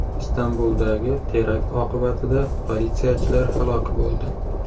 Istanbuldagi terakt oqibatida politsiyachilar halok bo‘ldi.